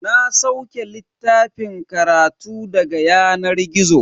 Na sauke littafan karatu daga yanar gizo.